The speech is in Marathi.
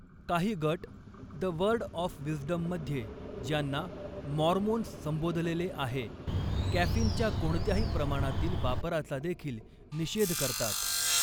काही गट 'द वर्ड ऑफ विज्डम' मध्ये ज्यांना 'मॉर्मोन्स' संबोधलेले आहे, कॅफीनच्या कोणत्याही प्रमाणातील वापराचा देखील निषेध करतात.